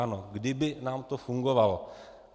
Ano, kdyby nám to fungovalo.